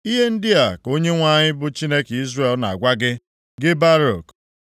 “Ihe ndị a ka Onyenwe anyị bụ Chineke Izrel na-agwa gị, gị Baruk,